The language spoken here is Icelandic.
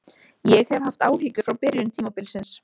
Ég hef haft áhyggjur frá byrjun tímabilsins.